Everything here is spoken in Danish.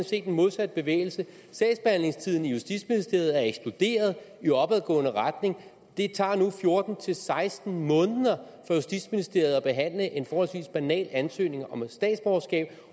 set den modsatte bevægelse sagsbehandlingstiderne i justitsministeriet er eksploderet i opadgående retning det tager nu fjorten til seksten måneder for justitsministeriet at behandle en forholdsvis banal ansøgning om statsborgerskab